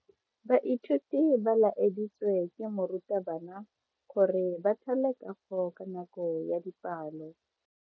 Baithuti ba laeditswe ke morutabana gore ba thale kago ka nako ya dipalo.